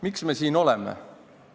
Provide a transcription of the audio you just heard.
Miks me siin oleme?